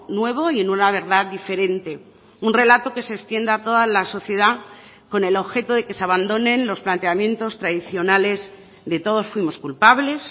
nuevo y en una verdad diferente un relato que se extienda a toda la sociedad con el objeto de que se abandonen los planteamientos tradicionales de todos fuimos culpables